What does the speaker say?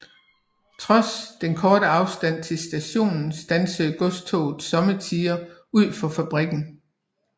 Trods den korte afstand til stationen standsede godstogene sommetider ud for fabrikken